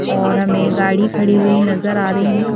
और हमें गाड़ी खड़ी हुई नजर आ रही है।